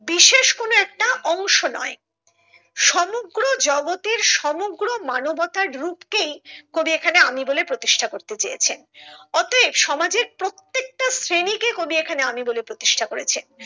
বিশেষ কোনো একটা অংশ নয় সমগ্র জগতের সমগ্র মানবতার রূপ কেই কবি এখানে আমি বলে প্রতিষ্ঠা করতে চেয়েছেন, অতএব সমাজের প্রত্যেকটা শ্রেণীকে কবি এখানে আমি বলে প্রতিষ্ঠা করেছে।